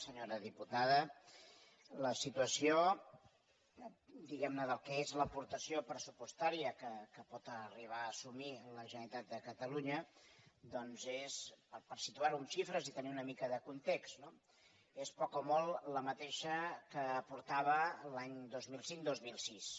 senyora diputada la si·tuació diguem·ne del que és l’aportació pressupostà·ria que pot arribar a assumir la generalitat de catalu·nya doncs és per situar·ho en xifres i tenir una mica de context no poc o molt la mateixa que aportava l’any dos mil cinc·dos mil sis